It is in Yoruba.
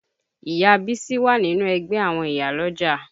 Ìyá Bísí wà nínú ẹgbẹ́ àwọn ìyálọ́jà